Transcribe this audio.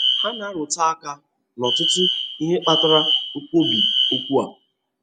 Ha na-arụtụ aka n'ọtụtụ ihe kpatara nkwubi okwu a.